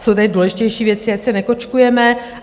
Jsou tady důležitější věci, ať se nekočkujeme.